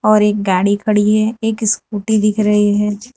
और एक गाड़ी खड़ी है एक स्कूटी दिख रही है।